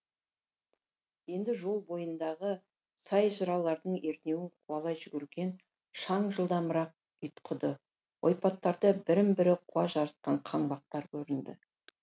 енді жол бойындағы сай жыралардың ернеуін қуалай жүгірген шаң жылдамырақ ұйтқыды ойпаттарда бірін бірі қуа жарысқан қаңбақтар көрінді